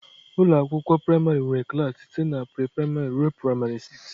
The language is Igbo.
Ụlọ akwụkwọ praịmarị nwere klas site na pre-praịmarị ruo praịmarị isii.